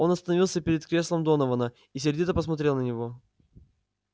он остановился перед креслом донована и сердито посмотрел на него